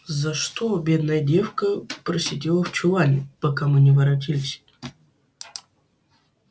за что бедная девка просидела в чулане пока мы не воротились